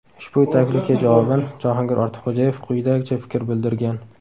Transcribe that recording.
Ushbu taklifga javoban Jahongir Ortiqxo‘jayev quyidagicha fikr bildirgan.